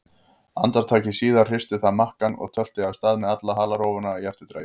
Andartaki síðar hristi það makkann og tölti af stað með alla halarófuna í eftirdragi.